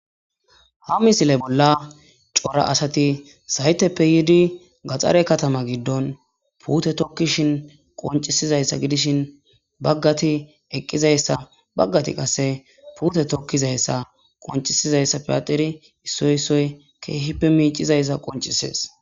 Ha misile bolla co,ra zayiseppe yidi gaxare katama gidon pute tokishin qonc,isidayisa gidishin bagati eqizayisa bagati qase pute tokizayisa qoncidayisappe adhidi isoyi isoyi kehippe mic,idayisa qonccises